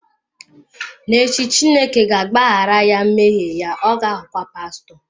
N'echi, Chineke ga-agbaghara ya mmehie ya, ọ ga-aghọkwa pastọ.